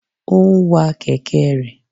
O n wa kẹ̀kẹ́ rẹ̀.